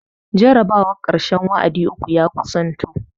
Jarabawan karshen wa'adi uku ya kusanto